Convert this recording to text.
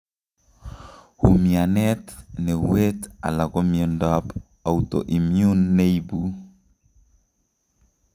Umianet, nueet ala komiondab outoimmune neibu